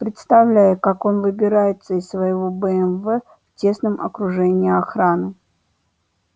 представляю как он выбирается из своего бмв в тесном окружении охраны